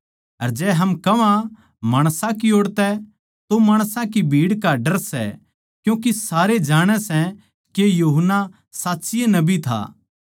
अर जै हम कह्वां माणसां की ओड़ तै तो माणसां की भीड़ का डर सै क्यूँके सारे जाणै सै के यूहन्ना साच्चीये नबी था